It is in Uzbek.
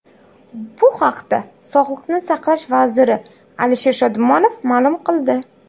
Bu haqda Sog‘liqni saqlash vaziri Alisher Shodmonov ma’lum qildi .